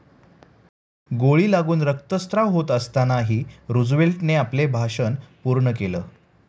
गोळी लागून रक्तश्राव होत असतानाही रूझवेल्टने आपले भाषण पूर्ण केलं.